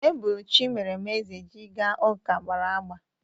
Ebulu Chimeremeze ji ga ụka gbara agba.